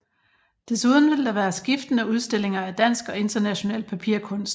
Desuden vil der være skiftende udstillinger af dansk og international papirkunst